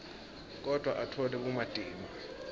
kodvwa atfole bumatima